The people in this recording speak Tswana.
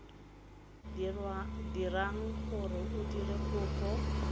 dirang gore o dire kopo